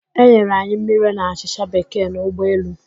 E nyere anyi mmiri na achịchạ Bekee n'ụgbọ elu.